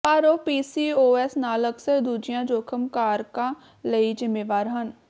ਪਰ ਉਹ ਪੀਸੀਓਐਸ ਨਾਲ ਅਕਸਰ ਦੂਜੀਆਂ ਜੋਖਮ ਕਾਰਕਾਂ ਲਈ ਜ਼ਿੰਮੇਵਾਰ ਹਨ